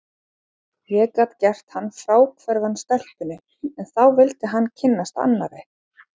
Ég gat gert hann fráhverfan stelpunni, en þá vildi hann kynnast annarri.